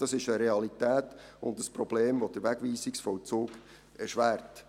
Dies ist eine Realität und ein Problem, welches den Wegweisungsvollzug erschwert.